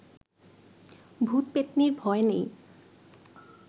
ভূত পেত্নীর ভয় নেই